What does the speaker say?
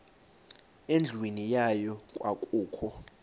endlwini yayo kwakukho